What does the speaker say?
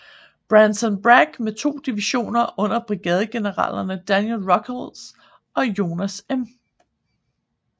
Braxton Bragg med to divisioner under brigadegeneralerne Daniel Ruggles og Jones M